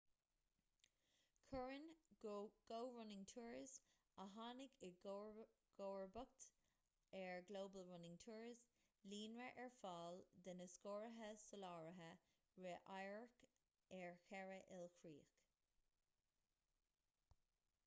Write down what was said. cuireann go running tours a tháinig i gcomharbacht ar global running tours líonra ar fáil de na scórtha soláthraithe rith amhairc ar cheithre ilchríoch